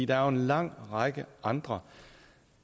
der er en lang række andre